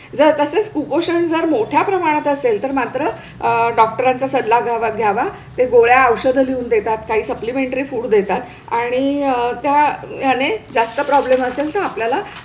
जर तसेच कुपोषण जर मोठय़ा प्रमाणात असेल तर मात्र डॉक्टरांचा सल्ला घ्यावा. ते गोळ्या औषध लिहून देतात. काही सप्लिमेंटरी फूड देतात आणि त्या आणि जास्त प्रॉब्लम असेल तर आपल्या ला